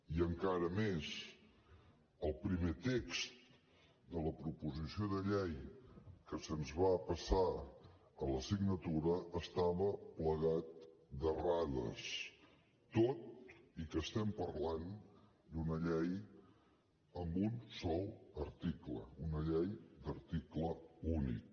i encara més el primer text de la proposició de llei que se’ns va passar a la signatura estava plagat d’errades tot i que estem parlant d’una llei amb un sol article una llei d’article únic